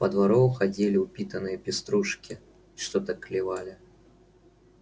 по двору ходили упитанные пеструшки и что-то клевали